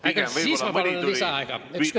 Pigem mõni sekund tuli boonuseks juurde.